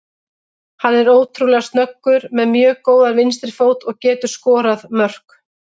Hann er ótrúlega snöggur, með mjög góðan vinstri fót og getur skorað mörk.